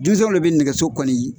Denmisɛnw le bɛ nɛgɛso kɔli